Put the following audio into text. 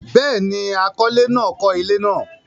Béèni, akọ́lé náà kọ́ ilé náà